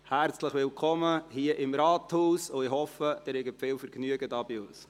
Herzlich willkommen hier im Rathaus, und ich hoffe, Sie haben viel Vergnügen hier bei uns!